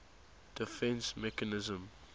defence mechanism